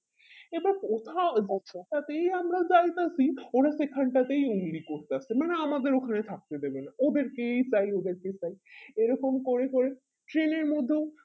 এবার কোথায় তাতেই আমরা যাইতাছি ওরা সেখানটাতেই অমনি করতাসে মানে আমাদের দোকানে থাকতে দেবে না ওদের কেই চাই ওদেরকেই চাই এইরকম করে করে ট্রেনের মধ্যেও